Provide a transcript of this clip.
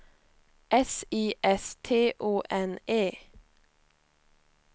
S I S T O N E